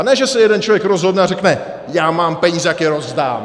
A ne že se jeden člověk rozhodne a řekne "já mám peníze, tak je rozdám"!